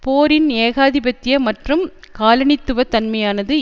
போரின் ஏகாதிபத்திய மற்றும் காலனித்துவ தன்மையானது